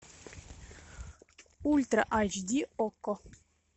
ультра айч ди окко